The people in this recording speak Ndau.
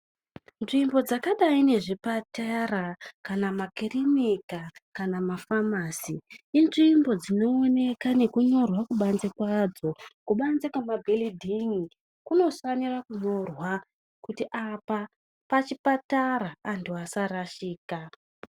Nzvimbo dzakadai nezvipatara kana makirinika kana mafamasi. Inzvimbo dzinooneka nekunyorwa kubanze kwadzo. Kubanze kwemabhiridhin'i kunofanira kunyorwa kuti apa pachipatara antu asarashika.